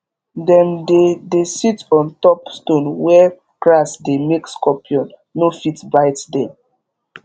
dem dey dey sit on top stone where grass dey make scorpion no fit bite dem